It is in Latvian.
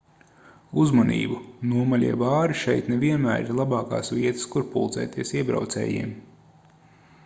uzmanību nomaļie bāri šeit ne vienmēr ir labākās vietas kur pulcēties iebraucējiem